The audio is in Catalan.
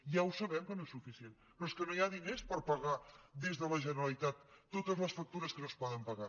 ja ho sabem que no és suficient però és que no hi ha diners per pagar des de la generalitat totes les factures que no es poden pagar